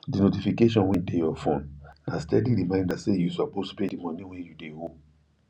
the notifications wey dey your phone na steady reminder say you suppose pay the money wey you de owe